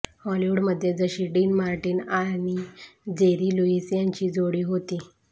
हॉलिवूडमध्ये जशी Dean Martin आणि जेरी लुईस यांची जोडी होती